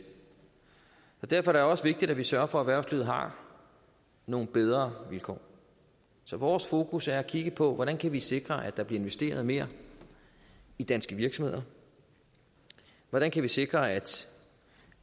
og derfor er det også vigtigt at vi sørger for at erhvervslivet har nogle bedre vilkår så vores fokus er at kigge på hvordan kan vi sikre at der bliver investeret mere i danske virksomheder hvordan kan vi sikre at